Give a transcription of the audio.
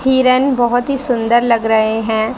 हिरन बहोत ही सुंदर लग रहे हैं।